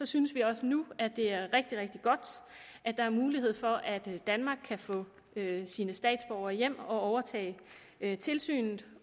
synes vi også nu at det er rigtig rigtig godt at der er mulighed for at danmark kan få sine statsborgere hjem og overtage tilsynet